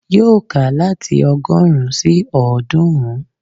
Yóò kà láti ọgọ́rùn-ún sí ọ̀ọ́dúnrún